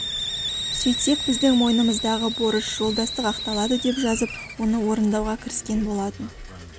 сөйтсек біздің мойнымыздағы борыш жолдастық ақталады деп жазып оны орындауға кіріскен болатын